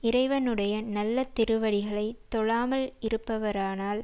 இறைவனுடைய நல்ல திருவடிகளை தொழாமல் இருப்பவரானால்